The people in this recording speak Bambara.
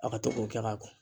A ka to k'o kɛ ka ko